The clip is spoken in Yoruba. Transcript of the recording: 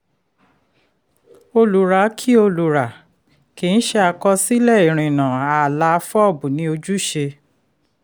olùrà kì í olùrà kì í ṣe àkọsílẹ̀ irìnnà ààlà fob ni ojúṣe.